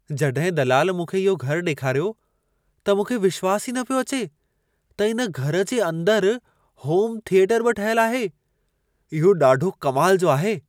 जॾहिं दलाल मूंखे इहो घर ॾेखारियो, त मूंखे विश्वास ई न पियो अचे, त इन घर जे अंदर होम थीयेटर बि ठहियल आहे। इहो ॾाढो कमाल जो आहे।